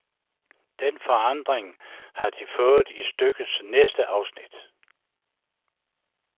Den forandring har de fået i stykkets næste afsnit.